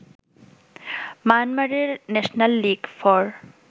মায়ানমারের national league for